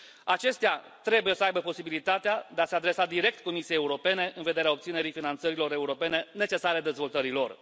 Acestea trebuie să aibă posibilitatea de a se adresa direct Comisiei Europene în vederea obținerii finanțărilor europene necesare dezvoltării lor.